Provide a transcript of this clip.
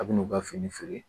A bi n'u ka fini feere